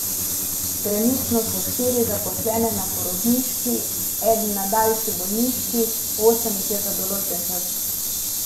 Trenutno so štiri zaposlene na porodniški, eden na daljši bolniški, osem jih je za določen čas.